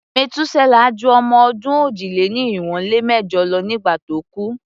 Metuselah ju ọmọ-ọdún òjì-lé-ní-irinwó-lé-mẹ́jọ lọ nígbà tó kú.